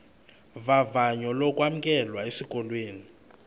vavanyo lokwamkelwa esikolweni